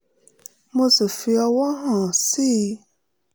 mo sì fi ọ̀wọ̀ hàn sí i